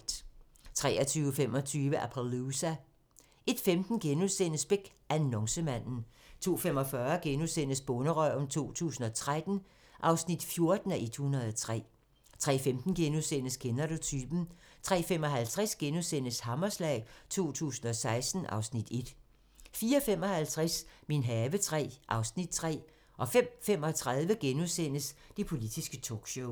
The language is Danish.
23:25: Appaloosa 01:15: Beck: Annoncemanden * 02:45: Bonderøven 2013 (14:103)* 03:15: Kender du typen? * 03:55: Hammerslag 2016 (Afs. 1)* 04:55: Min have III (Afs. 3) 05:35: Det politiske talkshow *